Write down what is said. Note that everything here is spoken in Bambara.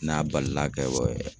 N'a balila ka bɔ